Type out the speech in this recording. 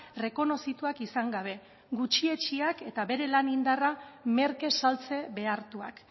errekonozituak izan gabe gutxietsiak eta bere lan indarra merke saltze behartuak